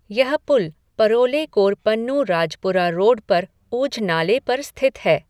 यह पुल परोले कोरपन्नू राजपुरा रोड पर ऊझ नाले पर स्थित है।